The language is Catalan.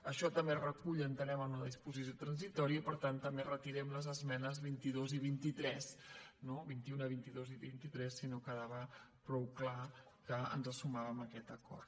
això també es recull entenem en una disposició transitòria i per tant també retirem les esmenes vint dos i vint tres no vint un vint dos i vint tres si no quedava prou clar que ens sumàvem a aquest acord